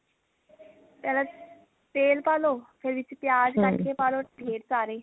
ਪਹਿਲਾਂ ਤੇਲ ਪਾ ਲਓ ਫੇਰ ਇਸ ਚ ਪਿਆਜ ਕੱਟ ਕੇ ਪਾ ਲਓ ਢੇਰ ਸਾਰੇ